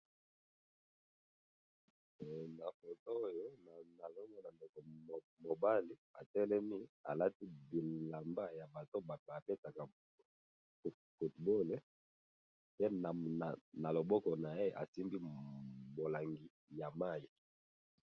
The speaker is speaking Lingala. he na foto oyo nazomona neti mobali atelemi alati bilamba mutu oyo abetaka football pe na maboko naye asimbi bolangi ya mayi.